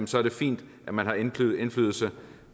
så er det fint at man har indflydelse